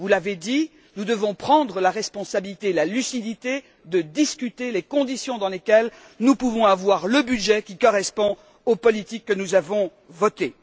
Vous l'avez dit, nous devons prendre la responsabilité, nous devons avoir la lucidité de discuter des conditions dans lesquelles nous pouvons avoir le budget qui correspond aux politiques que nous avons adoptées.